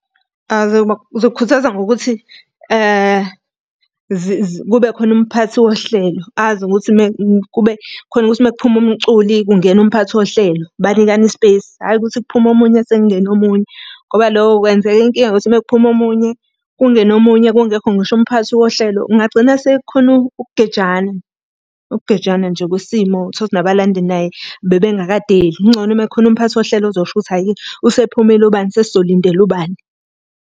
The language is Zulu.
Ngizokhuthaza ngokuthi kube khona umphathi wohlelo, azi ukuthi kube khona ukuthi uma kuphuma umculi kungena Umphathi wohlelo banikane i-space, hhayi ukuthi kuphume omunye sekungena omunye. Ngoba lokho kwenzeka inkinga ngokuthi uma kuphuma omunye, kungena omunye kungekho ngisho umphathi wohlelo kungagcina sekukhona ukugejana. Ukugejana nje kwesimo, uthole ukuthi nabalandeli naye bebengakadeli. Kungcono uma kukhona umphathi wohlelo ozosho ukuthi hhayi-ke usephumile ubani sesizolindela ubani.